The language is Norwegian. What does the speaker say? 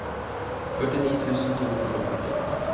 førtini tusen to hundre og femtiåtte